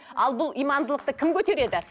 ал бұл имандылықты кім көтереді